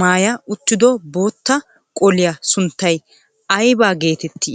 maayya uttido bootta qoliyaa sunttay aybba geetetti?